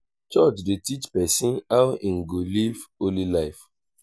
church dey teach pesin how im go live holy life.